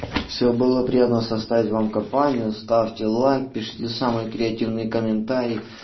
всё было приятно составить вам компанию ставьте лайк пишите самые креативные комментарии